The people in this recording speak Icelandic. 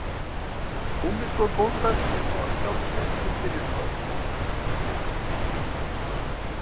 Gúmmískór bóndans eins og skáldið skildi við þá